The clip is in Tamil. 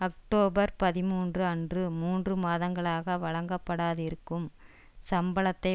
அக்டோபர் பதிமூன்று அன்று மூன்று மாதங்களாக வழங்கப்படாதிருக்கும் சம்பளத்தை